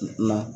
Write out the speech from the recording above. Na